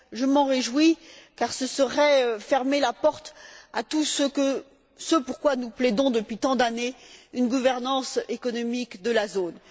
Je m'en réjouis car ce serait fermer la porte à tout ce pour quoi nous plaidons depuis tant d'années, à savoir une gouvernance économique de la zone.